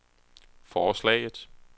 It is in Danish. forslaget